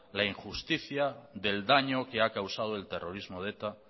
la injusticia del daño que ha causado el terrorismo de eta